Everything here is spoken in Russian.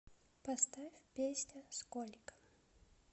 поставь песня сколько